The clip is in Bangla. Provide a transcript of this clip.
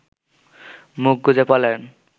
মুখ গুঁজে পলায়ন